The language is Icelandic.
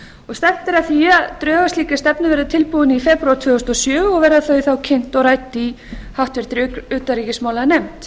að því að drög að slíkri stefnu verði tilbúin í febrúar tvö þúsund og sjö og verða þau þá kynnt og rædd í háttvirtri utanríkismálanefnd